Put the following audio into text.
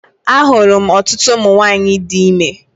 A hụrụ m ọtụtụ ụmụ nwaanyị di ime.